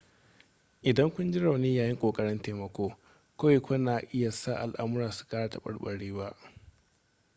idan kun ji rauni yayin ƙoƙarin taimako kawai kuna iya sa al'amura su kara taɓarɓarewa